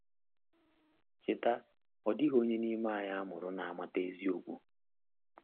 Cheta, ọ dịghị onye n’ime anyị a mụrụ na-amata eziokwu.